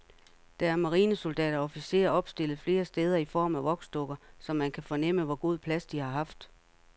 Der er marinesoldater og officerer opstillet flere steder i form af voksdukker, så man kan fornemme, hvor god plads de har haft.